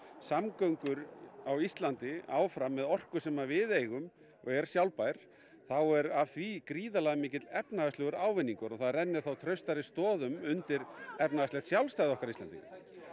samgöngur á Íslandi áfram með orku sem að við eigum og er sjálfbær þá er af því gríðarlega mikill efnahagslegur ávinningur og það rennir þá traustari stoðum undir efnahagslegt sjálfstæði okkar Íslendinga